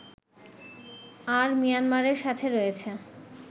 আর মিয়ানমারের সাথে রয়েছে